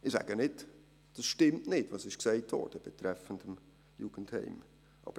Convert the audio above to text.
Ich sage nicht, es stimme nicht, was betreffend das Jugendheim gesagt wurde.